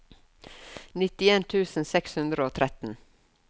nittien tusen seks hundre og tretten